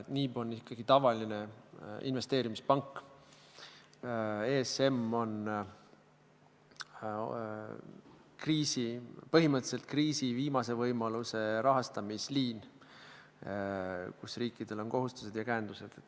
NIB on ikkagi tavaline investeerimispank, ESM on põhimõtteliselt kriisi viimase võimaluse rahastamisliin, kus riikidel on kohustused ja käendused.